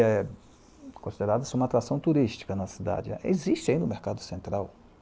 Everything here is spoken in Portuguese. eh, considerado uma atração turística na cidade. Existe ainda o mercado central